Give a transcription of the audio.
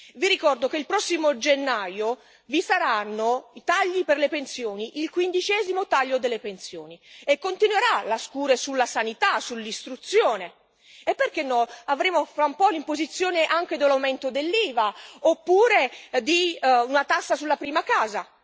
Vi ricordo che il prossimo gennaio vi saranno i tagli per le pensioni, il 15o taglio delle pensioni, e continuerà la scure sulla sanità, sull'istruzione e, perché no, avremo tra un po' l'imposizione anche dell'aumento dell'IVA, oppure di una tassa sulla prima casa.